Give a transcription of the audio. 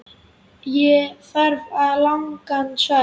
Ég þarf ekki langan svefn.